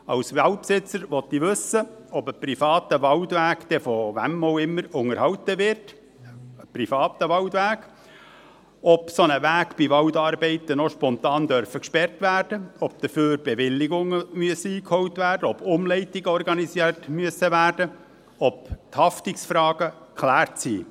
Als Waldbesitzer will ich wissen, ob ein privater Waldweg dann von wem auch immer unterhalten wird – ein privater Waldweg –, ob ein solcher Weg bei Waldarbeiten noch spontan gesperrt werden darf, ob dafür Bewilligungen eingeholt werden müssen, ob Umleitungen organisiert werden müssen, ob die Haftungsfragen geklärt sind.